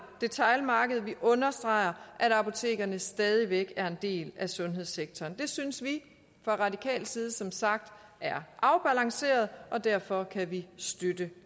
detailmarked vi understreger at apotekerne stadig væk er en del af sundhedssektoren det synes vi fra radikal side som sagt er afbalanceret og derfor kan vi støtte